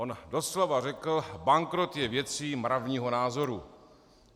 On doslova řekl: Bankrot je věcí mravního názoru.